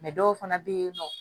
dɔw fana bɛ yen nɔ